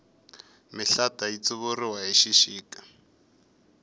mihlata yi tsuvuriwa hi xixika